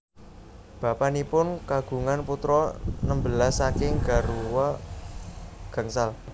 Bapanipun kagungan putra nembelas saking garwa gangsal